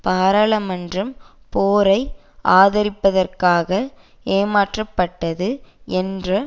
பாராளுமன்றம் போரை ஆதரிப்பதற்காக ஏமாற்றப்பட்டது என்ற